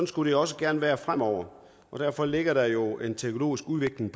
skulle det også gerne være fremover derfor ligger der jo en teknologisk udvikling